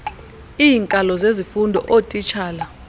iinkalo zezifundo ootitshala